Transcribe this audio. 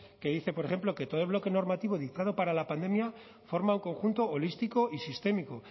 que dice por ejemplo que todo el bloque normativo dictado para la pandemia forma un conjunto holístico y sistémico